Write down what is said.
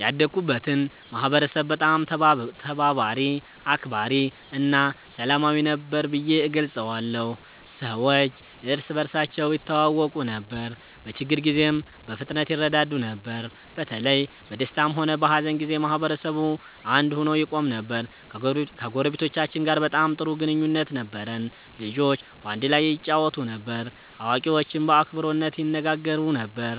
ያደግኩበትን ማህበረሰብ በጣም ተባባሪ፣ አክባሪ እና ሰላማዊ ነበር ብዬ እገልጸዋለሁ። ሰዎች እርስ በርሳቸው ይተዋወቁ ነበር፣ በችግር ጊዜም በፍጥነት ይረዳዱ ነበር። በተለይ በደስታም ሆነ በሀዘን ጊዜ ማህበረሰቡ አንድ ሆኖ ይቆም ነበር። ከጎረቤቶቻችን ጋር በጣም ጥሩ ግንኙነት ነበረን። ልጆች በአንድ ላይ ይጫወቱ ነበር፣ አዋቂዎችም በአክብሮት ይነጋገሩ ነበር።